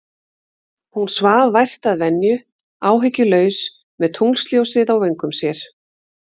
Hún svaf vært að venju, áhyggjulaus, með tunglsljósið á vöngum sér.